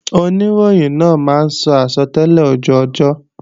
Oníròyìn náà máa sọ àsọtẹ́lẹ̀ ojú ọjọ́